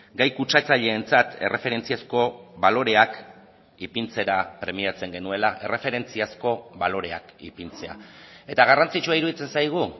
gai kutsatzaileentzat erreferentziazko baloreak ipintzera premiatzen genuela erreferentziazko baloreak ipintzea eta garrantzitsua iruditzen zaigu